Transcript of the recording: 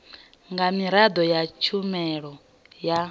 nga miraḓo ya tshumelo ya